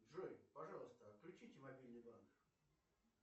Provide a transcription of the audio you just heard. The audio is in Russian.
джой пожалуйста отключите мобильный банк